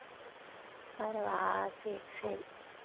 வரவா சரி சரி